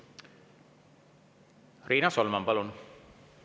Riina Solman, palun!